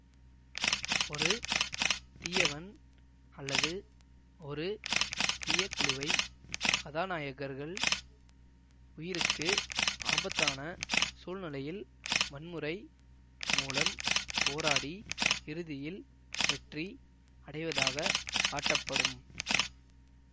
ஒரு தீயவன் அல்லது ஒரு தீய குழுவை கதாநாயகர்கள் உயிருக்கு ஆபத்தான சூழ்நிலையில் வன்முறை மூலம் போராடி இறுதியில் வெற்றி அடைவதாக காட்டப்படும்